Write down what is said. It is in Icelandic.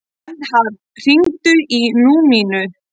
Vernharð, hringdu í Númínu.